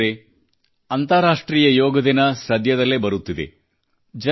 ಮಿತ್ರರೇ ಅಂತಾರಾಷ್ಟ್ರೀಯ ಯೋಗ ದಿನ ಸದ್ಯದಲ್ಲೇ ಬರುತ್ತಿದೆ